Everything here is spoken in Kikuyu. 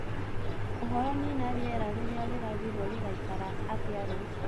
uhoro Nina rĩera rĩrĩa rirathirwo rĩgaĩkara atĩa rucio